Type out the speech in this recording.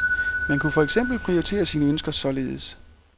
Man kunne for eksempel prioritere sin ønsker således.